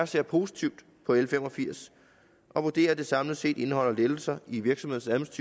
ser positivt på l fem og firs og vurderer at det samlet set indeholder lettelser i virksomhedernes